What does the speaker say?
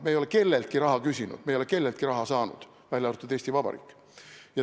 Me ei ole kelleltki raha küsinud, me ei ole kelleltki raha saanud, välja arvatud Eesti Vabariik.